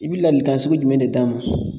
I bi lalikan sugu jumɛn de d'a ma?